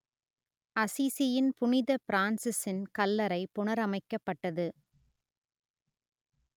அசிசியின் புனித பிரான்சிசின் கல்லறை புனரமைக்கப்பட்டது